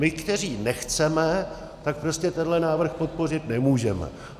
My, kteří nechceme, tak prostě tenhle návrh podpořit nemůžeme.